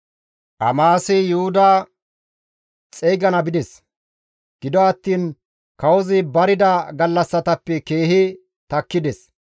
Amasi Yuhuda xeygana bides; gido attiin kawozi barida gallassatappe keehi takkides.